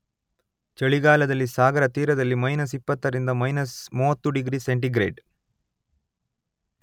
ಚಳಿಗಾಲದಲ್ಲಿ ಸಾಗರ ತೀರದಲ್ಲಿ ಮಯ್ನಸ್ ಇಪ್ಪತ್ತರಿಂದ ಮಯ್ನಸ್ ಮೂವತ್ತು ಡಿಗ್ರಿ ಸೆಂಟಿಗ್ರೇಡ್